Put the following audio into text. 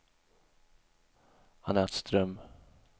Anette Ström